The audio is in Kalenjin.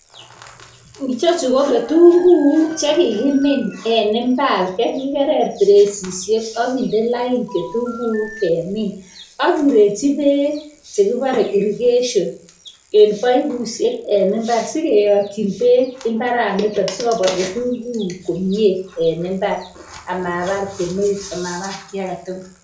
Ichechu ko kitunguuk che kikimin en imbaar. Chekikerer bereisisiek ak kinde lain kitunguuk lemon. Akirechi beek chekibore, irrigation en. paipusiek en imbaar. Sikoyotyiin been imbaranitok, sikobwa ketunguik komie en imbaar ama baar beek. Anan Kombar kiy agetugul.